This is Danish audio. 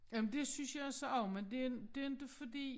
Jamen det synes jeg så også men det det inte fordi